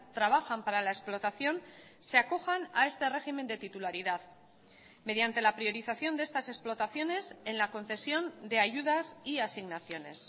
trabajan para la explotación se acojan a este régimen de titularidad mediante la priorización de estas explotaciones en la concesión de ayudas y asignaciones